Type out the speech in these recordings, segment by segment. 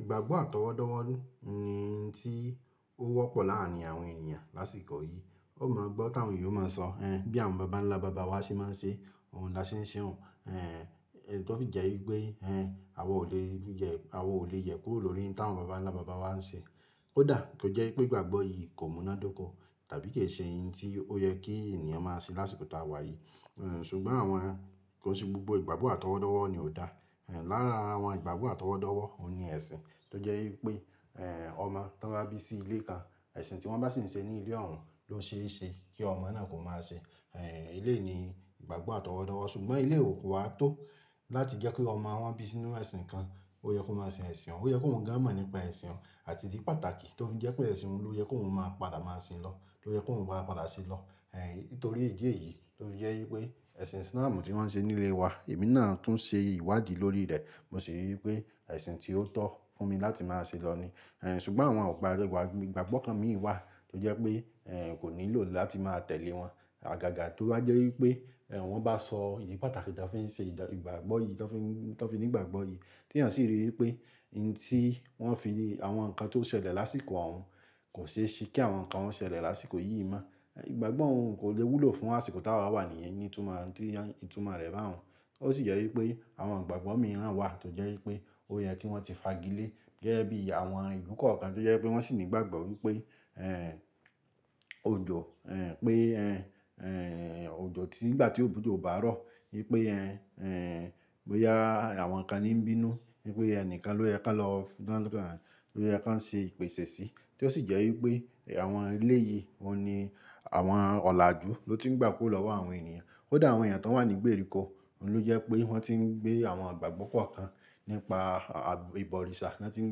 Ìgbàgbọ́ àtọwọ́dọ́wọ́ ni tí ó wọ́pọ̀ láàrin àwọn ènìyàn lásìkò yìí. Ó máa gbọ́ táwọn ènìyàn máa ń sọ ẹ́n bí àwọn bàbá ńlá bàbá wa ṣe máa ń ṣe ohun dáṣẹ́nṣẹ́ hun ẹ́n, ètó fi jẹ́ wípé ẹ́n àwọn ò lè yẹ̀, àwọn ò lè yẹ̀ kúrò lórí tí àwọn bàbá ńlá bàbá wa ń ṣe. Ó dà kí ó jẹ́ pé ìgbàgbọ́ yìí kò múnádóko tàbí kì í ṣe ohun tí ó yẹ kí ènìyàn máa ṣe lásìkò táa wà yìí. Ẹ̀n ṣùgbọ́n àwọn kan sí gbogbo ìgbàgbọ́ àtọwọ́dọ́wọ́ ni ò dá. Ẹ̀n lára àwọn ìgbàgbọ́ àtọwọ́dọ́wọ́ òun ni ẹṣin tó jẹ́ wípé ẹ̀n ọmọ tó bá bí sí ilé kan, ẹṣin tí wọ́n bá sì ń ṣe ní ilé ọ̀run ló ṣe é ṣe kí ọmọ náà kò máa ṣe. Ẹ̀n ilé ni ìgbàgbọ́ àtọwọ́dọ́wọ́ ṣùgbọ́n ilé ò kó wa tó láti jẹ́ kí ọmọ wọn bí sínú ẹṣin kan, ó yẹ kó máa ṣe ẹ̀ṣin òun, ó yẹ kó hun gan á mọ̀ nípa ẹ̀ṣin òun àti ìdí pàtàkì tó fi jẹ́ pé ẹ̀ṣin òun ló yẹ kó hun máa padà máa sin lọ, ló yẹ kó hun wá padà ṣe lọ. Ẹ̀n nítorí ìdí èyí tó fi jẹ́ wípé ẹ̀ṣin sínáà mú tí wọ́n ń ṣe nílé wa, èmi náà tún ṣe ìwádìí lórí rẹ̀, mo sì rí wípé ẹ̀ṣin tí ó tọ́ fún mi láti máa ṣe lọ ni. Ẹ̀n ṣùgbọ́n àwọn ọ̀parí wa, ìgbàgbọ́ kan mìíràn wà tó jẹ́ pé ẹ̀n kò nílò láti máa tẹ̀lé wọn. Àgàgà tó bá jẹ́ wípé ẹ̀n wọ́n bá sọ ìdí pàtàkì tó fi ń ṣe ìdàrí ìgbàgbọ́ yìí tó fi ń, tó fi ní ìgbàgbọ́ yìí tí ènìyàn sì rí wípé ohun tí wọ́n fi ni àwọn nǹkan tó ṣẹlẹ̀ lásìkò òhun kò ṣe é ṣe kí àwọn nǹkan ó ṣẹlẹ̀ lásìkò yìí mọ́. Ẹ̀n ìgbàgbọ́ òhun kò lè wúlò fún àsìkò táa wa wà níyẹn, ní ìtumọ́, ní ìtumọ̀ rẹ̀ bá òhun. Ó sì jẹ́ wípé àwọn ìgbàgbọ́ mìíràn wà tó jẹ́ wípé ó yẹ kí wọ́n ti fagilé gẹ́gẹ́ bí àwọn ìlú kọ̀ọ̀kan tó jẹ́ pé wọ́n sì ní ìgbàgbọ́ wípé ẹ̀n òjò ẹ̀n pé ẹ́n ẹ̀n òjò tí ni ìgbà tí òjò bá rọ̀ wípé ẹ́n ẹ̀n bóyá àwọn kan ní ń bínú wípé ẹnìkan ló yẹ ká lọ fún, ló yẹ ká ń ṣe ìpèsè sí. Tó sì jẹ́ wípé àwọn ilé yìí òun ni àwọn ọ̀làjú ló ti ń gbà kó lọ́wọ́ àwọn ènìyàn. Ó dà àwọn ènìyàn tó wà ní gbèríko ló jẹ́ pé wọ́n ti ń gbé àwọn ìgbàgbọ́ kọ̀ọ̀kan nípa bìbọ òrìṣà na ti ń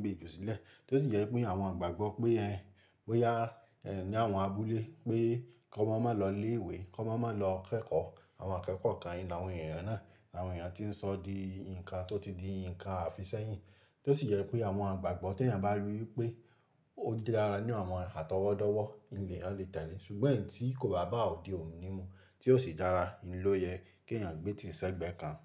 gbé jù sílẹ̀. Tó sì jẹ́ pé àwọn ìgbàgbọ́ pé ẹ́n bóyá ẹ̀n ní àwọn abúlé pé kí ọmọ má lọ ilé ìwé, kí ọmọ má lọ kẹ́kọ̀ọ́, àwọn akẹ́kọ̀ọ́ kan ni àwọn ènìyàn náà. Àwọn ènìyàn tí ń sọ di nǹkan tó ti di nǹkan àfisẹ́yìn. Tó sì jẹ́ pé àwọn ìgbàgbọ́ tí ènìyàn bá rí wípé ó di dára ní àwọn àtọwọ́dọ́wọ́ hin leyan lè tẹ̀lé. Ṣùgbọ́n èyí tí kò bá bá òde òun nímù tí ó sì dára ni ló yẹ kí ènìyàn gbé tìsẹ́ gbẹ́ kan.